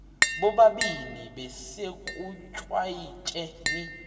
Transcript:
bobabini besekuchwayite ni